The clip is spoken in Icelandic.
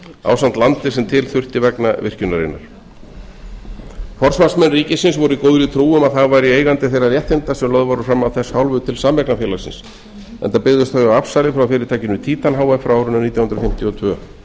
ásamt landi sem til þurfti vegna virkjunarinnar forsvarsmenn ríkisins voru í góðri trú um að það væri eigendur þeirra réttinda sem lögð voru fram af þess hálfu til sameignarfélagsins enda byggðust þau á afsali frá fyrirtækinu titan h f frá árinu nítján hundruð fimmtíu og tveir